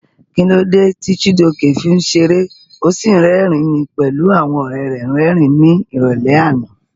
Kí ló dé tí Chijioke fi ń ṣeré ó sì rẹ́rìn-ín pẹ̀lú àwọn ọ̀rẹ́ rẹ́rìn-ín ní ìrọ̀lẹ́ àná?